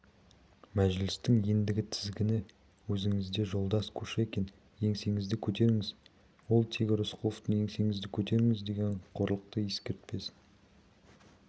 мәжілістің ендігі тізгіні өзіңізде жолдас кушекин еңсеңізді көтеріңіз ол тегі рысқұловтың еңсеңізді көтеріңіз деген қорлықты ескертпесін